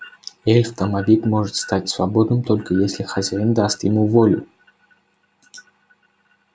эльф-домовик может стать свободным только если хозяин даст ему волю